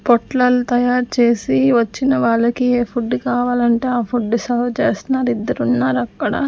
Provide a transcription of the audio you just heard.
పొట్లాలు తయారు చేసి వచ్చిన వాళ్ళకి ఏ ఫుడ్ కావాలంటే ఆ ఫుడ్ సర్వ్ చేస్తున్నారు ఇద్దరు ఉన్నారు అక్కడ--